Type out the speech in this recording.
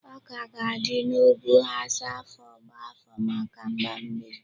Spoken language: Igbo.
Ọka ga-adị n'ugwu Hausa afọ gbá afọ maka mgbammiri.